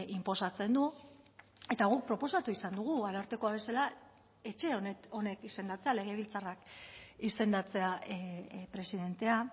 inposatzen du eta guk proposatu izan dugu arartekoa bezala etxe honek izendatzea legebiltzarrak izendatzea presidentea